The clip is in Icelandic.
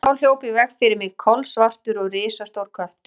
En þá hljóp í veg fyrir mig kolsvartur og risastór köttur.